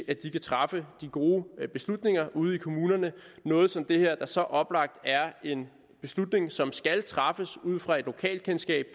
at de kan træffe de gode beslutninger ude i kommunerne noget som det der er så oplagt en beslutning som skal træffes ud fra et lokalkendskab